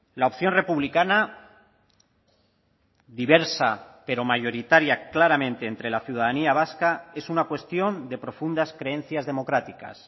la opción republicana diversa pero mayoritaria claramente entre la ciudadanía vasca es una cuestión de profundas creencias democráticas